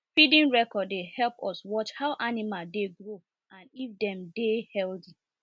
feeding record dey help us watch how animal dey grow and if dem dey healthy